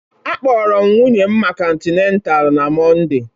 Akpọrọ m nwunye m maka Antenatal na Mọnde.